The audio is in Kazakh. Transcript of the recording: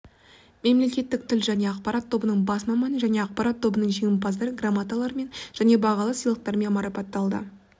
мемлекеттік тіл және ақпарат тобының бас маманы және ақпарат тобының жеңімпаздар грамоталармен және бағалы сыйлықтармен марапатталды